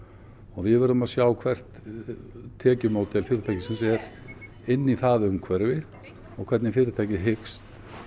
við verðum að sjá hvert tekjumódel fyrirtækisins er inn í það umhverfi og hvernig fyrirtækið hyggst